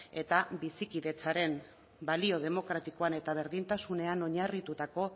eta bizikidetzaren balio demokratikoan eta berdintasunean oinarritutako